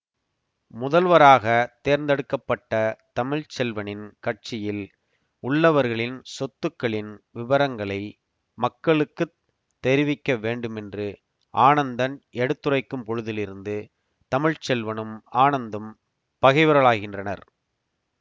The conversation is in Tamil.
முதல்வராக தேர்ந்தெடுக்க பட்ட தமிழ்ச்செல்வனின் கட்சியில் உள்ளவர்களின் சொத்துக்களின் விபரங்களை மக்களுக்கு தெரிவிக்கவேண்டுமென்று ஆனந்தன் எடுத்துரைக்கும்பொழுதிலிருந்து தமிழ்ச்செல்வனும் ஆனந்தும் பகைவர்களாகின்றனர்